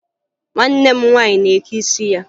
Nwanne m nwaanyị na-eke isi ya